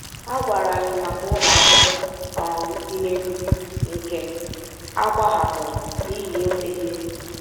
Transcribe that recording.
Ha gwara anyị maka ụlọ akwụkwọ um dị n’Enugwu nke a gbahapụrụ n’ihi enweghị ego.